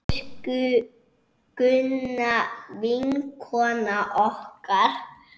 Elsku Gunna, vinkona okkar!